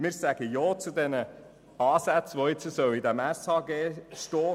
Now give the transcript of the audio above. Wir sagen Ja zu den Ansätzen, welche neu im SHG stehen sollen.